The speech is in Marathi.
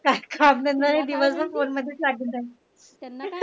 काय काम धंदे नाही दिवसभर फोन मध्ये लागून राहील